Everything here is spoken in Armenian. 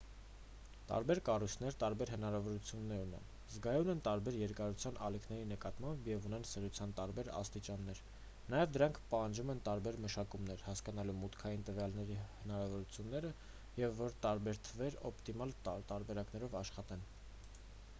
տարբեր կառույցներ տարբեր հնարավորություններ ունեն զգայուն են տարբեր երկարության ալիքների նկատմամբ և ունեն սրության տարբեր աստիճաններ նաև դրանք պահանջում են տարբեր մշակումներ հասկանալու մուտքային տվյալների հնարավորությունները և որ տարբեր թվեր օպտիմալ տարբերակով աշխատեն